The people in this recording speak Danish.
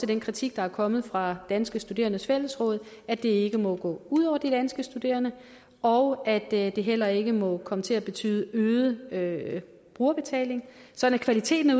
den kritik der er kommet fra danske studerendes fællesråd at det ikke må gå ud over de danske studerende og at det det heller ikke må komme til at betyde øget brugerbetaling så kvaliteten